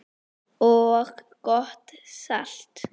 og gott salat.